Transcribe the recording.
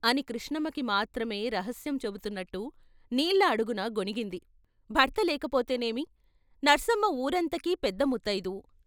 అని కృష్ణమ్మకి మాత్రమే రహస్యం చెబుతున్నట్టు నీళ్ళ అడుగున గొనిగింది భర్త లేకపోతేనేమి, నర్సమ్మ వూరంతకీ పెద్ద ముత్తయిదు.